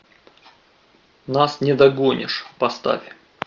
нас не догонишь поставь